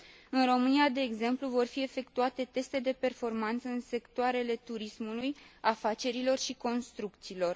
În România, de exemplu, vor fi efectuate teste de performanță în sectoarele turismului, afacerilor și construcțiilor.